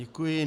Děkuji.